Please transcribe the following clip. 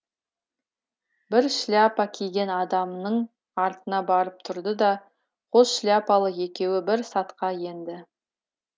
бір шляпа киген адамның артына барып тұрды да қос шляпалы екеуі бір сапқа енді